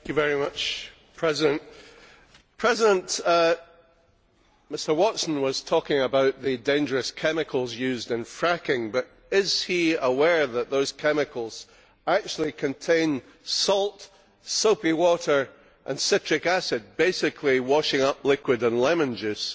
Mr President, Mr Watson was talking about the dangerous chemicals used in fracking, but is he aware that those chemicals actually contain salt, soapy water and citric acid basically washing up liquid and lemon juice